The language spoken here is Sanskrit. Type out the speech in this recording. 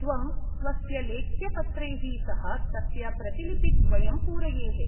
त्वं स्वस्य लेख्यपत्रैः सह तस्य प्रतिलिपिद्वयं पूरयेः।